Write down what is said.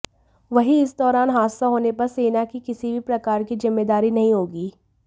वहीं इस दौरान हादसा होने पर सेना की किसी भी प्रकार की जिम्मेदारी नहीं होगी